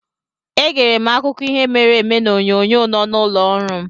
Egere m akụkọ ihe mere eme n'onyonyo nọ n'ụlọ ọrụ m.